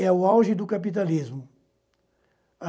É o auge do capitalismo.